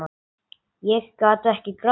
Ég gat ekki grátið.